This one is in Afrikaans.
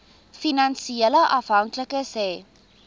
finansiële afhanklikes hê